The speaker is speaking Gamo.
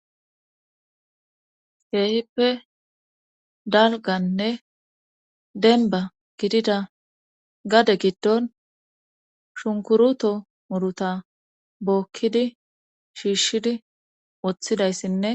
keehippe dalganne denba gidida gade giddon shunkuruto muruta bookkidi shiishshidi woththidayssinne